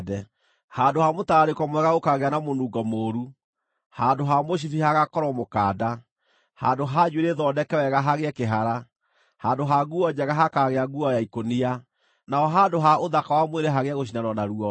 Handũ ha mũtararĩko mwega gũkaagĩa na mũnungo mũũru; handũ ha mũcibi hagaakorwo mũkanda; handũ ha njuĩrĩ thondeke wega hagĩe kĩhara; handũ ha nguo njega hakaagĩa nguo ya ikũnia; naho handũ ha ũthaka wa mwĩrĩ hagĩe gũcinanwo na ruoro.